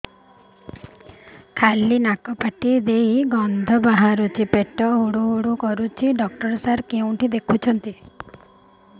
ଖାଲି ନାକ ପାଟି ଦେଇ ଗଂଧ ବାହାରୁଛି ପେଟ ହୁଡ଼ୁ ହୁଡ଼ୁ କରୁଛି ଡକ୍ଟର ସାର କେଉଁଠି ଦେଖୁଛନ୍ତ